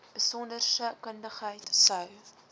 besonderse kundigheid sou